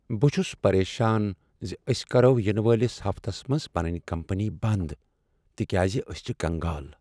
بہٕ چُھس پرٮ۪شان زِ أسۍ کَرو ینہٕ وٲلِس ہفتس منٛز پنٕنۍ کمپنی بند تِکیازِ أسۍ چھ کنگال ۔